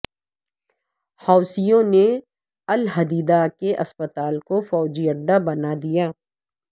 حوثیوں نے الحدیدہ کے اسپتال کو فوجی اڈہ بنا دیا